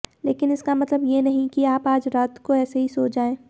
लेकिन इसका मतलब ये नहीं कि आप आज रात को ऐसे ही सो जाएं